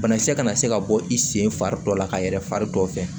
Banakisɛ kana se ka bɔ i sen fari dɔ la ka yɛlɛ fari dɔ fɛ